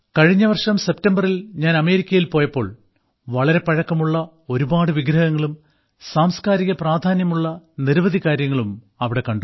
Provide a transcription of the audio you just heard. കഴിഞ്ഞ വർഷം സെപ്റ്റംബറിൽ ഞാൻ അമേരിക്കയിൽ പോയപ്പോൾ വളരെ പഴക്കമുള്ള ഒരുപാട് വിഗ്രഹങ്ങളും സാംസ്കാരിക പ്രാധാന്യമുള്ള നിരവധി കാര്യങ്ങളും അവിടെ കണ്ടു